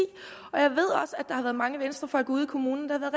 jeg mange venstrefolk ude i kommunerne